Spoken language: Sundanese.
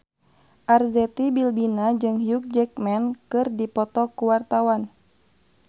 Arzetti Bilbina jeung Hugh Jackman keur dipoto ku wartawan